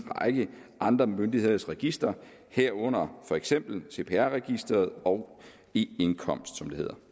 række andre myndigheders registre herunder for eksempel cpr registeret og e indkomstregisteret